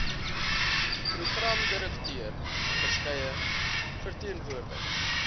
programdirekteur verskeie verteenwoordigers